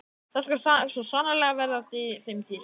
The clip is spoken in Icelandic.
Það skal svo sannarlega verða þeim dýrt!